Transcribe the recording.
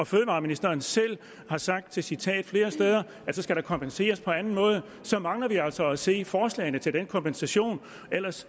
fødevareministeren selv har sagt til citat flere steder at så skal der kompenseres på anden måde så mangler vi altså at se forslagene til den kompensation ellers